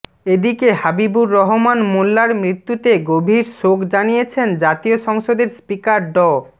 এদিকে হাবিবুর রহমান মোল্লার মৃত্যুতে গভীর শোক জানিয়েছেন জাতীয় সংসদের স্পিকার ড